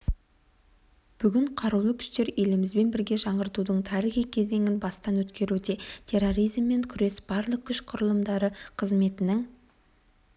бүгін қарулы күштер елімізбен бірге жаңғырудың тарихи кезеңін бастан өткеруде терроризммен күрес барлық күш құрылымдары қызметінің